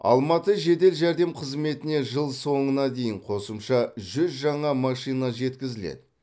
алматы жедел жәрдем қызметіне жыл соңына дейін қосымша жүз жаңа машина жеткізіледі